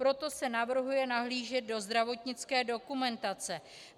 Proto se navrhuje nahlížet do zdravotnické dokumentace.